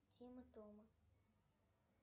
тима тома